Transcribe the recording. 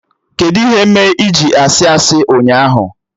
Kedụ ihe mee iji sị asị ụnyaahụ?